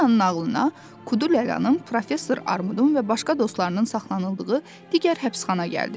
Çipalinanın ağılına Kudu lələnin professor Armudun və başqa dostlarının saxlanıldığı digər həbsxana gəldi.